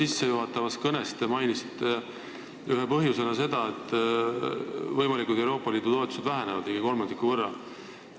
Oma sissejuhatavas kõnes te mainisite ühe põhjusena seda, et Euroopa Liidu võimalikud toetused vähenevad ligi kolmandiku võrra.